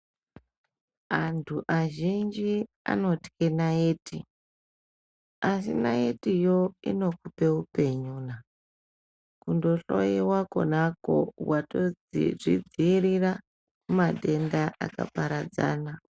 Antu azhinji anotye naiti asi naitiyo inokupe upenyu kundohloyiwa konako watozvidziirira kumatenda akaparadzana.